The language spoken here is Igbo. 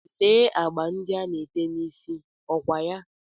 Lee agba ndị a ana-ete n'isí, ọ kwa ya?